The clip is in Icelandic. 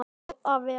Og að vera